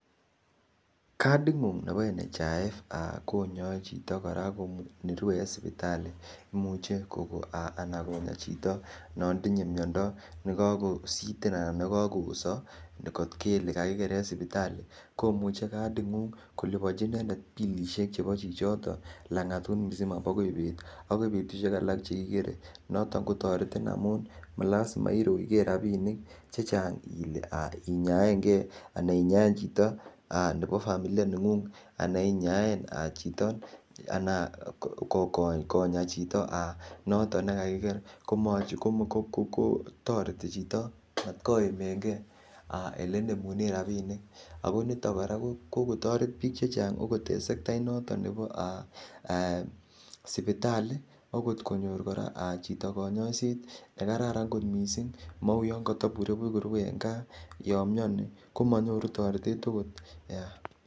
Kading'ung nebo NHIF ko nyoe chito kora nerue en sipitali imuche ana konya chito notinye miondo ne kagositen anan ne kagooso kot kele kakiker en sipitali komuche kading'ung koliponji inendet bilisiek chebo chichoton lang'atut misima bagai beet. Bagoi betushek alak chekigere kigere. Noton kotoretin ngamun malazima irochge rabinik che chang inyaange ana inyaen chito nebo familia neng'ung anan inyaen chito ana konya chito noto ne kakiker, ko toreti chito matkoimenge ele inemunen rabinik ago niton kora ko kogotoret biik che chang ogot en sektait noton nebo sipitali ogot konyor kora chito konyoiiset nekararan kot mising mou yon kotobure buch en gaa yon mioni ko monyoru toretet agot.